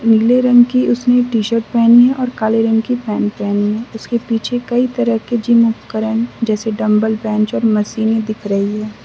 नीले रंग की उसने टी_शर्ट पहनी है और काले रंग की पैंट पहनी है। उसके पीछे कई तरह के जिम उपकरण जैसे डंबल बेंच और मशीन दिख रही है।